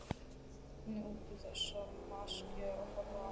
Nutu þess máske að horfa á hana nakta og hýdda.